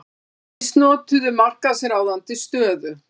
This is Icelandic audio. Misnotuðu markaðsráðandi stöðu